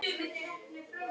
Því boði var ekki tekið.